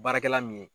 Baarakɛla min ye